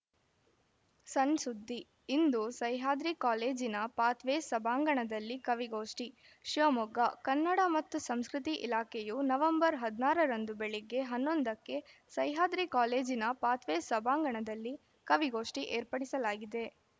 ಸಣ್‌ಸುದ್ದಿ ಇಂದು ಸಹ್ಯಾದ್ರಿ ಕಾಲೇಜಿನ ಪಾಥ್‌ವೇಸ್‌ ಸಭಾಂಗಣದಲ್ಲಿ ಕವಿಗೋಷ್ಠಿ ಶಿವಮೊಗ್ಗ ಕನ್ನಡ ಮತ್ತು ಸಂಸ್ಕೃತಿ ಇಲಾಖೆಯು ನವೆಂಬರ್ ಹದಿನಾರರಂದು ಬೆಳಗ್ಗೆ ಹನ್ನೊಂದಕ್ಕೆ ಸಹ್ಯಾದ್ರಿ ಕಾಲೇಜಿನ ಪಾಥ್‌ವೇಸ್‌ ಸಭಾಂಗಣದಲ್ಲಿ ಕವಿಗೋಷ್ಠಿ ಏರ್ಪಡಿಸಲಾಗಿದೆ